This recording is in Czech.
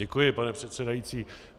Děkuji, pane předsedající.